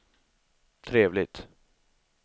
trevligt